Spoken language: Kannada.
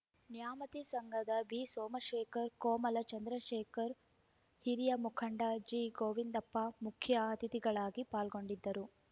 ನ್ಯಾಮತಿ ಸಂಘದ ಬಿಸೋಮಶೇಖರ ಕೋಮಲ ಚಂದ್ರಶೇಖರ್‌ ಹಿರಿಯ ಮುಖಂಡ ಜಿಗೋವಿಂದಪ್ಪ ಮುಖ್ಯ ಅತಿಥಿಗಳಾಗಿ ಪಾಲ್ಗೊಂಡಿದ್ದರು